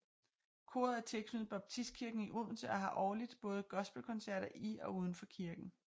Koret er tilknyttet Baptistkirken i Odense og har årligt både gospel koncerter i og uden for kirken